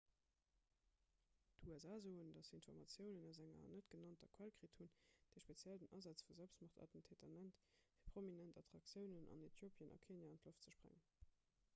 d'usa soen datt se informatiounen aus enger net-genannter quell kritt hunn déi speziell den asaz vu selbstmordattentäteren nennt fir prominent attraktiounen an äthiopien a kenia an d'loft ze sprengen